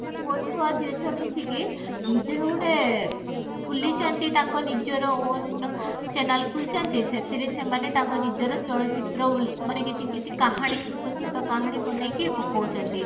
ପୁଅ ଛୁଆ ଝିଅ ଛୁଆ ମିସିକି ନିଜର ଗୁଟେ ଖୁଲିଛନ୍ତି ତାଙ୍କ ନିଜର own channel ଖୁଲିଛନ୍ତି ସେଥିରେ ସେମାନେ ତାଙ୍କ ନିଜର ଚଳଚିତ୍ର ମାନେ କିଛି କିଛି କାହାଣୀ ଛୋଟ ଛୋଟ କାହାଣୀ ବନେଇକି ପକଉଛନ୍ତି